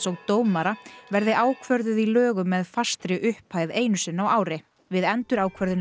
og dómara verði ákvörðuð í lögum með fastri upphæð einu sinni á ári við endurákvörðun